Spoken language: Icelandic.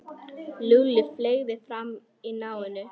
Lúlla fleygði fram í náminu.